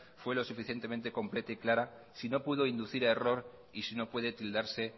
fue lo suficientemente completa y clara si no pudo inducir a error y si no puede tildarse